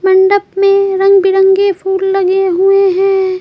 मंडप में रंग बिरंगे फूल लगे हुए हैं।